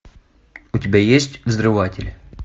у тебя есть взрыватели